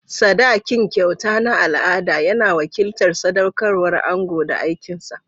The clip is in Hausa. Sadakin, kyauta na al'ada, yana wakiltar sadaukarwar ango da aikin sa.